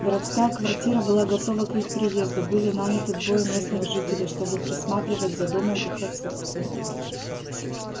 городская квартира была готова к их приезду были наняты двое местных жителей чтобы присматривать за домом в их отсутствие